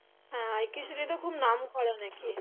হ্যাঁ খুব নাম করা নাকি